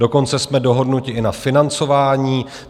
Dokonce jsme dohodnuti i na financování.